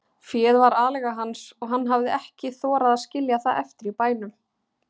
Féð var aleiga hans og hann hafði ekki þorað að skilja það eftir í bænum.